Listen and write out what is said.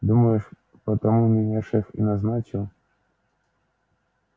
думаешь потому меня шеф и назначил